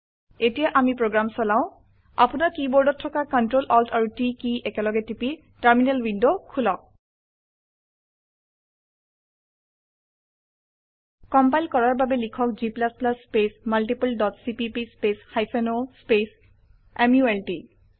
হয় এতিয়া আমি প্ৰোগ্ৰাম চলাও আপোনাৰ কীবোৰ্ডত Ctrl Alt আৰু T কি একলগে টিপি টাৰ্মিনেল উইন্ডো খুলক কম্পাইল কৰাৰ বাবে লিখক g space multiple dot cpp space hyphen o space malt